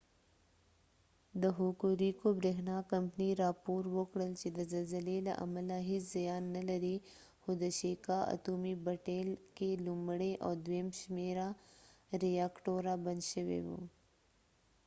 د هوکوریکو بریښنا کمپنۍ راپور ورکړل چې د زلزلې له امله هیڅ زیان نلري خو د شیکا اتومي بټۍ کې لومړۍ او دویم شمیره ریاکټوره بند شوي وو